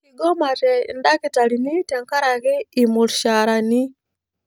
Kigomate ildakitarini tenkaraki irmushaarani